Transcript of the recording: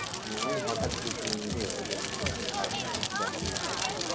না এমনি হঠাৎ গিয়েছিলাম যে ওই জন্য মানে কাউকে জানাইনি কাউকে।